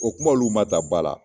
O kuma olu ma ta ba la